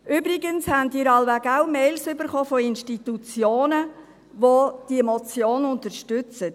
Übrigens haben Sie alle wohl auch Mails erhalten von Institutionen, die diese Motion unterstützen.